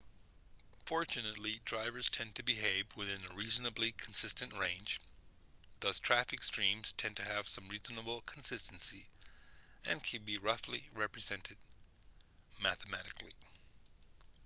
fortunately drivers tend to behave within a reasonably consistent range thus traffic streams tend to have some reasonable consistency and can be roughly represented mathematically